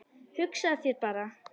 Hugsaðu þér bara!